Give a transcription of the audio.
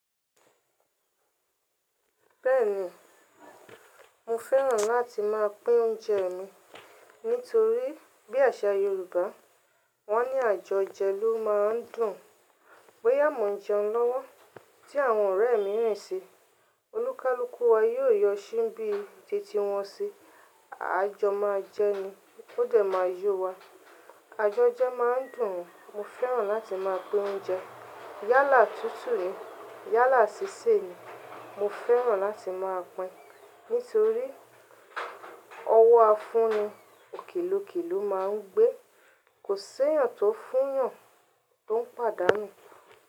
Bẹ́ẹ̀ni, mo fẹ́ràn láti máa pín oúnjẹ mi nítorí bí àṣà Yorùbá, wọn ní àjọjẹ ló máa ń dùn. Bọ́ya mo n jẹun lọ́wọ́ tí àwọn ọ̀rẹ́ mi rinṣi, olúkalùkù wa yóò yọ síbí titi wọ́n ṣi. Àa jọ máa jẹni, ó dẹ̀ máa yọ wa. Àjọjẹ máa ń dùn. Mo fẹ́ràn láti máa pín oúnjẹ. Yálà tutu ní, yálà sísè ni. Mo fẹ́ràn láti máa pín nítorí ọwọ́ afúnni òkèlókelò máa ń gbé. Kò ṣéyàn tó fún yàn tó ń pàdánù.